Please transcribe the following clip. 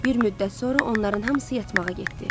Bir müddət sonra onların hamısı yatmağa getdi.